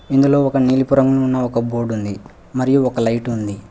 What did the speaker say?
ఇందులో ఒక నీలిపురంగులో ఉన్న ఒక బోర్డు ఉంది మరియు ఒక లైటు ఉంది.